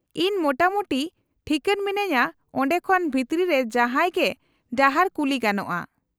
-ᱤᱧ ᱢᱚᱴᱟᱢᱩᱴᱤ ᱴᱷᱤᱠᱟᱹᱱ ᱢᱤᱱᱟᱹᱧᱟᱹ ᱚᱸᱰᱮ ᱠᱷᱚᱱ ᱵᱷᱤᱛᱨᱤ ᱨᱮ ᱡᱟᱦᱟᱸᱭ ᱜᱮ ᱰᱟᱦᱟᱨ ᱠᱩᱞᱤ ᱜᱟᱱᱚᱜᱼᱟ᱾